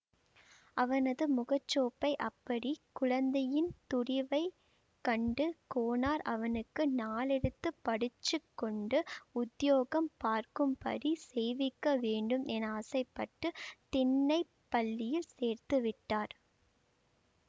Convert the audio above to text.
அவனது முகச்சோப்பை அப்படி குழந்தையின் துடிவைக் கண்டு கோனார் அவனுக்கு நாலெழுத்து படிச்சுக்கொண்டு உத்தியோகம் பார்க்கும்படி செய்விக்க வேண்டும் என ஆசைப்பட்டு திண்ணைப் பள்ளியில் சேர்த்துவிட்டார்